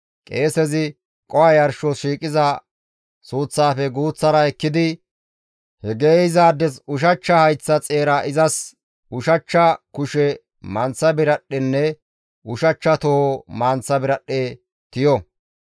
Qeesezi qoho yarshos shiiqiza suuththafe guuththara ekkidi he geeyzaades ushachcha hayththa xeera izas ushachcha kushe manththa biradhdhenne ushachcha toho manththa biradhdhe tiyo.